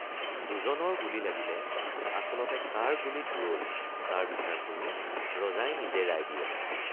দুজনৰ গুলী লাগিলে আচলতে কাৰ গুলীত ৰল তাৰ বিচাৰ কৰি ৰজাই নিজে ৰায় দিয়ে।